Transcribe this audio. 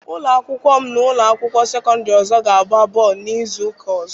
Ụlọ akwụkwọ m na ụlọ akwụkwọ sekọndịrị ọzọ ga-agba bọọlụ n'izu ụka ọzọ.